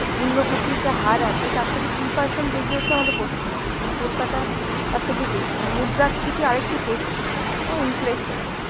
মূল্যবৃদ্ধির যে হার আছে তার থেকে দুই percent বেশি হচ্ছে আমাদের পশ্চিমবঙ্গে মানে কলকাতায় তার থেকে বেশি মানে মুদ্রাস্ফীতি আরেকটু বেশি অ্যাঁ inflation.